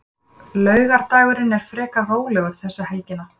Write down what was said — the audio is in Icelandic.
Laugardagurinn er frekar rólegur þessa helgina.